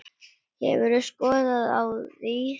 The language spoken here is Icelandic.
Hefur þú skoðun á því?